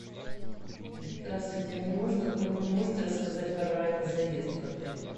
здравствуйте мне можно вы мне можете рассказать про ранний заезд в отель